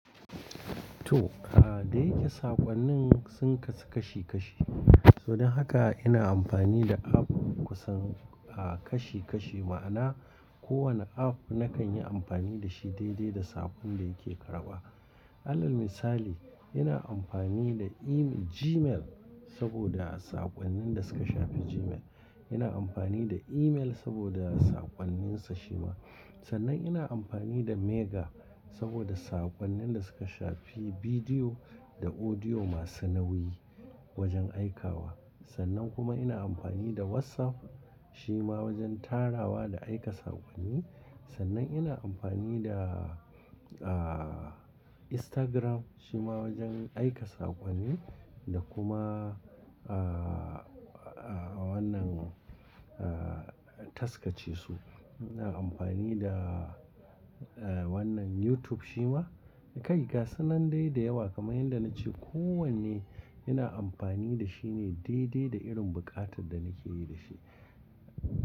To, ah dai ita saƙonnin sun kasu kashi kashi. Don haka ina amfani da app kusan a kashi kashi ma'ana kowane app nakan yi amfani da shi daidai da saƙon da yake karɓa. Alal misali, ina amfani da ema-- Gmail saboda saƙonnin da suka shafi Gmail. Ina amfani da email saboda saƙonninsa shi ma. Sannan ina amfani da Mega saboda saƙonnin da suka shafi bidiyo da audio masu nauyi wajen aikawa. Sannan kuma ina amfani da WhatsApp shi ma wajen tarawa da aika saƙonni. Sannan ina amfani da, ah, Instagram shi ma wajen aika saƙonni da kuma, ah, ah, wannan, ah, taskace su. Ina amfani da, ah, wannan YouTube shi ma. Kai ga, sanannai da yawa kamar yadda na ce ko wanne ina amfani da shi ne daidai da irin buƙatar da nake yi da shi.